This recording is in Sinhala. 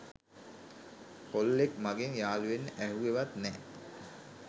කොල්ලෙක් මගෙන් යාළුවෙන්න ඇහුවෙ වත් නෑ